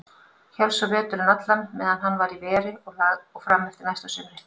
Hélst svo veturinn allan meðan hann var í veri og fram eftir næsta sumri.